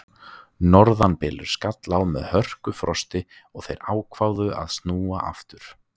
Norðanbylur skall á með hörkufrosti og þeir ákváðu að snúa aftur.